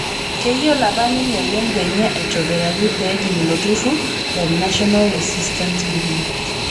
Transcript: Keyiolo apa ninye lengo enye aitobiraki pee ejing' ilo turrur le National Resistance Movement